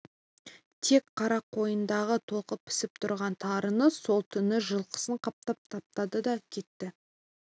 тек қарақойындағы толқып пісіп тұрған тарыны сол түні жылқысын қаптатып таптады да кетті